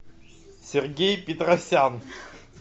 сергей петросян